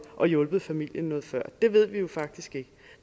og hjulpet familien noget før det ved vi jo faktisk ikke